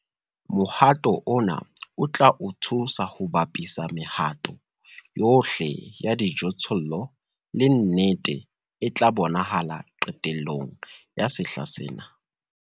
Mohato ona o tla o thusa ho bapisa mehato yohle ya dijothollo le nnete e tla bonahala qetellong ya sehla sena.